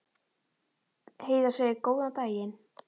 Heiða segir góðan daginn!